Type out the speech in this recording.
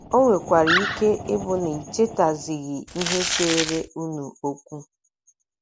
O nwekwara ike ịbụ na ị chetaghịzi ihe seere unu okwu.